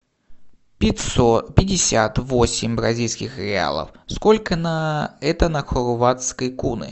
пятьсот пятьдесят восемь бразильских реалов сколько на это на хорватской куны